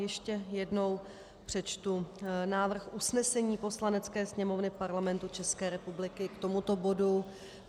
Ještě jednou přečtu návrh usnesení Poslanecké sněmovny Parlamentu České republiky k tomuto bodu.